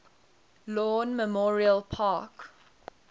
lawn memorial park